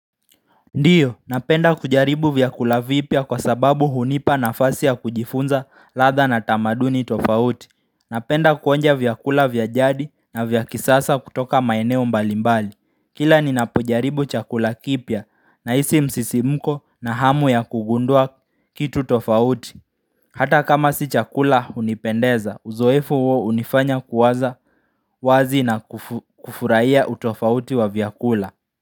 Ndiyo, napenda kujaribu vyakula vipya kwa sababu hunipa nafasi ya kujifunza ladha na tamaduni tofauti. Napenda kuonja vyakula vya jadi na vya kisasa kutoka maeneo mbalimbali Kila ninapojaribu chakula kipya nahisi msisimuko na hamu ya kugundua kitu tofauti Hata kama si chakula hunipendeza, uzoefu huo hunifanya kuwaza wazi na kufurahia utofauti wa vyakula.